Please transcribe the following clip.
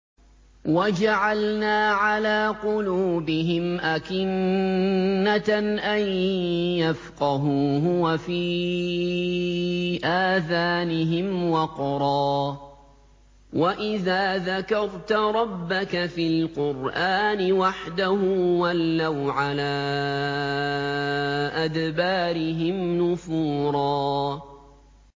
وَجَعَلْنَا عَلَىٰ قُلُوبِهِمْ أَكِنَّةً أَن يَفْقَهُوهُ وَفِي آذَانِهِمْ وَقْرًا ۚ وَإِذَا ذَكَرْتَ رَبَّكَ فِي الْقُرْآنِ وَحْدَهُ وَلَّوْا عَلَىٰ أَدْبَارِهِمْ نُفُورًا